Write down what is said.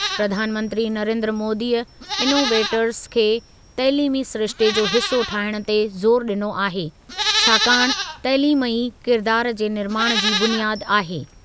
प्रधानमंत्री नरेन्द्र मोदीअ इनोवेटर्स खे तइलीमी सिरिश्ते जो हिसो ठाहिणु ते ज़ोरु ॾिनो आहे छाकाणि तइलीम ई किरिदारु जे निर्माणु जी बुनियादु आहे।